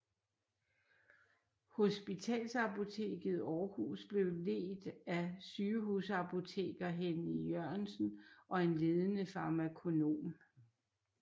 Hospitalsapoteket Aarhus blev ledt af sygehusapoteker Henny Jørgensen og en ledende farmakonom